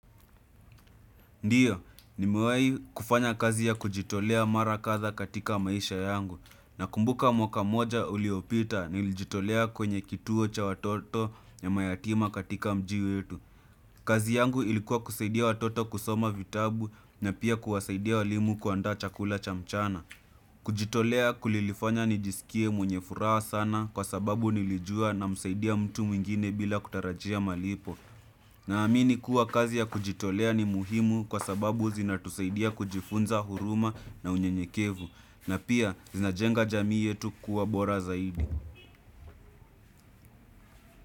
Ndiyo, nimewahi kufanya kazi ya kujitolea mara katha katika maisha yangu. Na kumbuka mwaka mmoja uliopita nilijitolea kwenye kituo cha watoto ya mayatima katika mji wetu. Kazi yangu ilikuwa kusaidia watoto kusoma vitabu na pia kuwasaidia walimu kuandaa chakula cha mchana. Kujitolea kulilifanya nijisikie mwenye furaha sana kwa sababu nilijua namsaidia mtu mwingine bila kutarajia malipo. Naamini kuwa kazi ya kujitolea ni muhimu kwa sababu zinatusaidia kujifunza huruma na unyenyekevu. Na pia zinajenga jamii yetu kuwa bora zaidi.